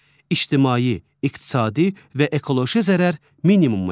İctimai, iqtisadi və ekoloji zərər minimuma enir.